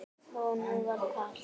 Honum var kalt.